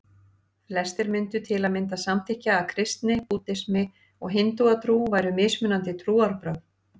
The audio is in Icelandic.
Flestir myndu til að mynda samþykkja að kristni, búddismi og hindúatrú væru mismunandi trúarbrögð.